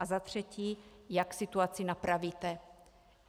A za třetí: Jak situaci napravíte?